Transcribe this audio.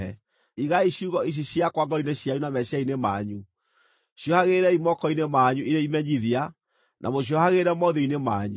Igaai ciugo ici ciakwa ngoro-inĩ cianyu na meciiria-inĩ manyu; ciohagĩrĩrei moko-inĩ manyu irĩ imenyithia, na mũciohagĩrĩre mothiũ-inĩ manyu.